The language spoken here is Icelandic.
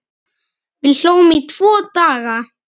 Við hlógum í tvo daga.